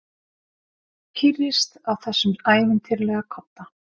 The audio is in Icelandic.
Kyrrist á þessum ævintýralega kodda.